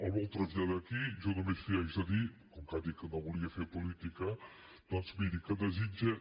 el vol traslladar aquí jo només li haig de dir com que ha dit que no volia fer política doncs miri que desitgem